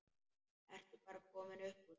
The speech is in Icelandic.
Ertu bara komin upp úr?